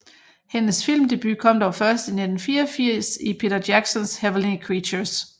Hendes filmdebut kom dog først i 1994 i Peter Jacksons Heavenly Creatures